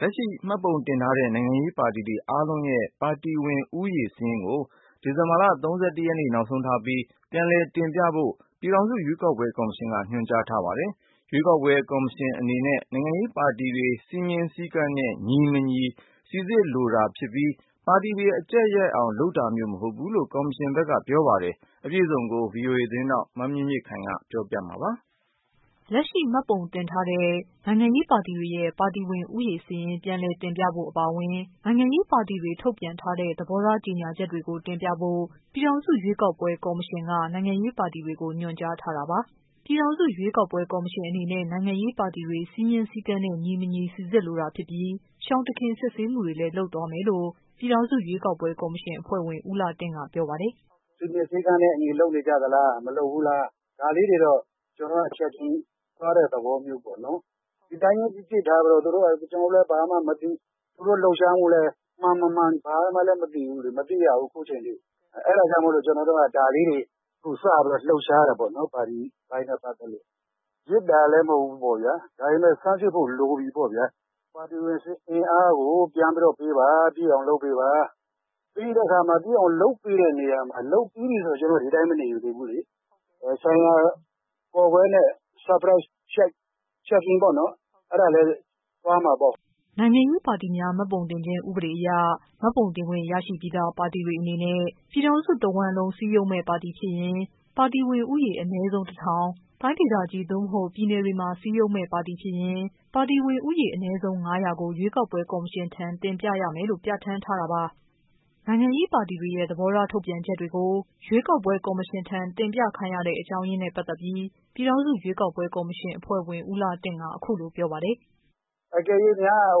လက်ရှိ မှတ်ပုံတင်ထားတဲ့ နိုင်ငံရေး ပါတီတွေ အားလုံးရဲ့ ပါတီဝင်ဦးရေ စာရင်းကို ဒီဇင်ဘာ ၃၁ရက်နေ့ နောက်ဆုံးထားပြီး ပြန်လည် တင်ပြဖို့ ပြည်ထောင်စု ရွေးကောက်ပွဲ ကော်မရှင်က ညွှန်ကြား ထားပါတယ်။ ပြည်ထောင်စု ရွေးကောက်ပွဲ ကော်မရှင်အနေနဲ့ နိုင်ငံရေး ပါတီတွေ စည်းမျဉ်း စည်းကမ်း နဲ့ ညီ၊မညီ စိစစ်လိုတာဖြစ်ပြီး ပါတီတွေ အကျပ်ရိုက်အောင် လုပ်တာမျိုးမဟုတ်ဘူးလို့ ကော်မရှင်ရဲ့ ပြော ရေးဆိုခွင့်ရှိသူက ပြောပါတယ်။ သတင်း အပြည့်အစုံကိုတော့ ဗွီအိုအေ မြန်မာပိုင်း သတင်းထောက် မမြင့်မြင့်ခိုင်က တင်ပြပေးပါမယ်။ လက်ရှိ မှတ်ပုံတင်ထားတဲ့ နိုင်ငံရေးပါတီတွေရဲ့ ပါတီဝင် ဦးရေ စာရင်း ပြန်လည်တင်ပြဖို့ အပါ အဝင် နိုင်ငံရေးပါတီတွေ ထုတ်ပြန်ထားတဲ့ သဘောထား ကြေညာချက်တွေကို တင်ပြဖို့ ပြည်ထောင်စု ရွေးကောက်ပွဲ ကော်မရှင်က ညွှန်ကြားထာတာပါ။ ပြည်ထောင်စု ရွေးကောက်ပွဲ ကော်မရှင်အနေနဲ့ နိုင်ငံရေးပါတီတွေ စည်းမျဉ်းစည်းကမ်းနဲ့ ညီ၊ မညီ စိစစ်လိုတာဖြစ်ပြီး ရှောင်တခင် စစ်ဆေးမှုတွေလည်း လုပ်သွားမယ်လို့ ပြည်ထောင်စု ရွေးကောက် ပွဲ ကော်မရှင် အဖွဲ့ဝင် ဦးလှတင့်က ပြောပါတယ်။ “စည်းမျဉ်းစည်းကမ်းနဲ့အညီ လုပ်နေကြသလား မလုပ်ဘူးလား၊ ဒါလေးတွေတော့ ကျနေ်ာတို့ checking လုပ်တဲ့ သဘောမျိုးပေါ့နော် ဒီအတိုင်းကြီးလုပ်ထားပြီးတော့ ကျနော်တို့လည်း ဘာမှ မသိ သူတို့ လှုပ်ရှားမှုလည်း မှန်မမှန်ဘာမှ လည်းမသိဘူးလေ။ မသိရဘူး အခုအချိန်အထိ အဲဒါကြောင့်မို့လို့ကျနော်တို့က ဒါလေးတွေ အခုစပြီးတော့ လှုပ်ရှားတာပေါ့နော် ပါတီအပိုင်းနဲ့ ပတ်သက်လို့။ ဒါပေမယ့် ဆန်းစစ်ဖို့ လိုပြီပေါ့ဗျာ၊ ပါတီဝင် အင်အားကို ပြန်ပြီးတော့ပေးပါ လုပ်ပေးပါ။ ပြီးတဲ့ အခါမှာ လုပ်ပေးတဲ့နေရာမှာလည်း လုပ်ပြီးပြီဆိုရင် ကျနော်တို့ ဒီအတိုင်းမနေသေးဘူးလေ။ ဆိုင်ရာနဲ့ ကျနော်တို့ Surprise checking အဲဒါလည်း သွားမှာပေါ့။” နိုင်ငံရေးပါတီများ မှတ်ပုံတင်ခြင်း ဥပဒေအရ မှတ်ပုံတင်ခွင့်ရရှိပြီးသား ပါတီတွေအနေနဲ့ ပြည် ထောင်စု တဝှမ်းလုံး စည်းရုံးမယ့် ပါတီဖြစ်ရင် ပါတီဝင်ဦးရေ အနည်းဆုံး တထောင်၊ တိုင်းဒေသကြီး သို့ ပြည်နယ်တွေမှာ စည်းရုံးမယ့် ပါတီဖြစ်ရင် ပါတီဝင်ဦးရေ အနည်းဆုံး ငါးရာကို ရွေးကောက်ပွဲ ကော်မရှင် ထံ တင်ပြရမယ်လို့ ပြဌာန်းထားတာပါ။ နိုင်ငံရေးပါတီတွေရဲ့ သဘောထားထုတ်ပြန်ချက်တွေကို ရွေးကောက်ပွဲ ကော်မရှင်ထံ တင်ပြခိုင်းရတဲ့ အကြောင်းရင်းနဲ့ ပတ်သက်ပြီး ပြည်ထောင်စု ရွေးကောက်ပွဲ ကော်မရှင် အဖွဲ့ဝင် ဦးလှတင့်က အခု လို ပြောပါတယ်။ “အကယ်၍များ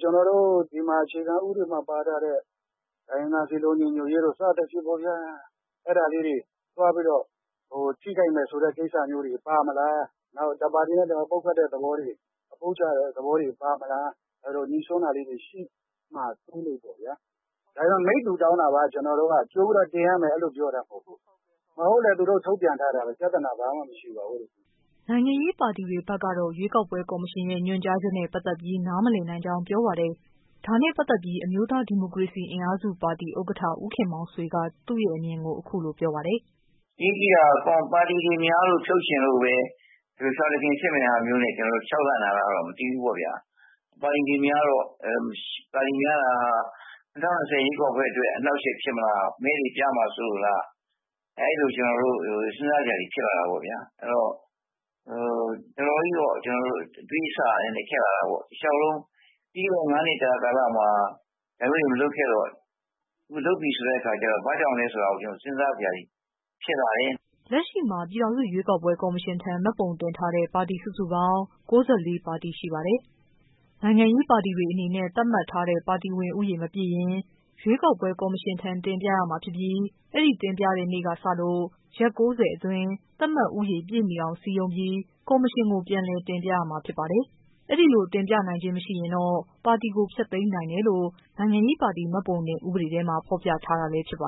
ကျနော်တို့ အခြေခံဥပဒေမှာ ပါထားတဲ့ တိုင်းရင်းသားစည်းလုံးညီညွတ်ရေးတို့ စသဖြင့်ပေါ့ဗျာ အဲဒါလေးတွေ သွားပြီးတော့ ထိခိုက်မယ်ဆိုတဲ့ ကိစ္စလေးတွေ ပါမလား၊ တစ်ပါတီနဲ့ တစ်ပါတီ ပုတ်ချတဲ့ သဘောတွေ ပါမလား အဲလို ငြိစွန်းတာလေးတွေ ရှိမှာ ဆိုးလို့ပေါ့ဗျာ ဒါကြောင့် မိတ္တူတောင်းတာပါ ကြိုပြီးတော့ တင်ရမယ်မဟုတ်ဘူး။ မဟုတ်ရင်လည်း သူတို့ ထုတ်ပြန်ထားတာပဲ ပြဿနာ ဘာမှ မရှိပါဘူး။” နိုင်ငံရေးပါတီတွေ ဘက်ကတော့ ရွေးကောက်ပွဲ ကော်မရှင်ရဲ့ ညွှန်ကြားချက်နဲ့ ပတ်သက်ပြီး နား မလည်နိုင်ကြောင်း ပြောပါတယ်။ ဒါနဲ့ပတ်သက်ပြီးအမျိုးသား ဒီမိုကရေစီ အင်အားစု ပါတီ ဥက္ကဌ ဦးခင် မောင်ဆွေက သူ့အမြင်ကို အခုလို ပြောပါတယ်။ “အရေးကြီးတာက ပါတီတွေ များလို့ပဲ ဖြုတ်ချင်လို့ ဒီလိုရှောင်တခင်စစ်နေတာ ခြောက်လန့်တာလာတော့ မသိဘူးပေါ့ခင်ဗျ ။ပါတီတွေ များတာက ၂၀၂၀ ရွေးကောက်ပွဲ အတွက် အနှောက်အယက်ဖြစ်မလား ၊ မဲတွေ ပျောက်မှာ စိုးလို့လား၊ အဲဒီလို ကျနော်တို့ စဉ်းစားစရာတွေ ဖြစ်လာတာပေါ့ဗျာ။ အဲဒီတော့ တော်တော်ကြီး စဉ်းစားစရာဖြစ်လာတာပေါ့ တလျောက်လုံး ပြီးခဲ့တဲ့ ၅ နှစ်တာ ကာလမှာ ဒါမျိုးတွေ မလုပ်ခဲ့တော့ အခုလုပ်ပြီဆိုတဲ့အခါကျတော့ ဘာကြောင့် လဲဆိုတာကို စဉ်းစားစရာတွေ ဖြစ်လာတယ်။” လက်ရှိ ပြည်ထောင်စု ရွေးကောက်ပွဲ ကောမရှင်ထံ မှတ်ပုံတင်ထားတဲ့ ပါတီ စုစုပေါင်း ၉၄ ပါတီ ရှိပါတယ်။ နိုင်ငံရေးပါတီတွေအနေနဲ့ သတ်မှတ်ထားတဲ့ ပါတီဝင်ဦးရေ မပြည့်ရင် ရွေးကောက်ပွဲ ကော် မရှင်ထံ တင်ပြရမှာဖြစ်ပြီး အဲ့ဒီ တင်ပြတဲ့နေ့ကစလို့ ရက် ၉၀အတွင်း သတ်မှတ်ဦးရေ ပြည့်မီအောင် စည်းရုံးပြီး ကော်မရှင်ကို ပြန်လည်တင်ပြရမှာ ဖြစ်ပါတယ်။ အဲ့လို တင်ပြနိုင်ခြင်းမရှိရင်တော့ ပါတီကို ဖျက်သိမ်းနိုင်တယ်လို့ နိုင်ငံရေးပါတီ မှတ်ပုံတင်ဥပဒေထဲမှာ ဖော်ပြထားတာလည်း ဖြစ်ပါ